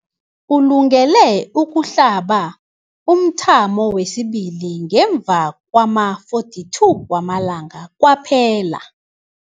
Ulungele ukuhlaba umthamo wesibili ngemva kwama-42 wamalanga kwaphela.